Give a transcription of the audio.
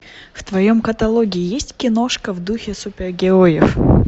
в твоем каталоге есть киношка в духе супергероев